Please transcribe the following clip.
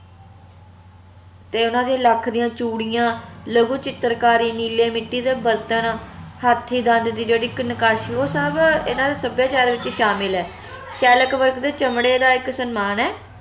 ਤੇ ਓਹਨਾ ਦੀਆ ਲਖ ਦੀਆ ਚੂੜੀਆਂ ਲਘੁ ਚਿੱਤਰਕਾਰੀ ਨੀਲੇ ਮਿੱਟੀ ਦੇ ਬਰਤਨ ਹਾਥੀ ਦੰਦ ਦੀ ਜਿਹੜੀ ਇਕ ਨਕਾਸ਼ੀ ਓਹ ਸਬ ਏਹਨਾ ਦੇ ਸੱਭਿਆਚਾਰ ਵਿਚ ਸ਼ਾਮਿਲ ਆ ਚਮੜੇ ਦਾ ਇਕ ਸਨਮਾਨ ਐ